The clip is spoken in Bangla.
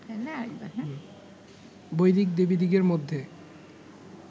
বৈদিক দেবীদিগের মধ্যে